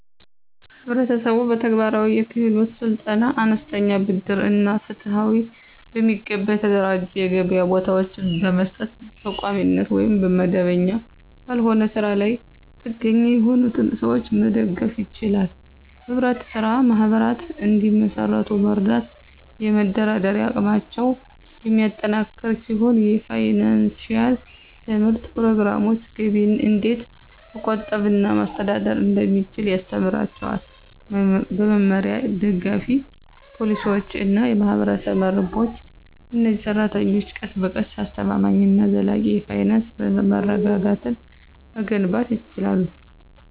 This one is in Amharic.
ህብረተሰቡ በተግባራዊ የክህሎት ስልጠና፣ አነስተኛ ብድር እና ፍትሃዊ፣ በሚገባ የተደራጁ የገበያ ቦታዎችን በመስጠት በቋሚነት ወይም መደበኛ ባልሆነ ስራ ላይ ጥገኛ የሆኑትን ሰዎች መደገፍ ይችላል። ህብረት ስራ ማህበራት እንዲመሰርቱ መርዳት የመደራደሪያ አቅማቸውን የሚያጠናክር ሲሆን የፋይናንሺያል ትምህርት ፕሮግራሞች ገቢን እንዴት መቆጠብ እና ማስተዳደር እንደሚችሉ ያስተምራቸዋል። በመመሪያ፣ ደጋፊ ፖሊሲዎች እና የማህበረሰብ መረቦች፣ እነዚህ ሰራተኞች ቀስ በቀስ አስተማማኝ እና ዘላቂ የፋይናንስ መረጋጋትን መገንባት ይችላሉ።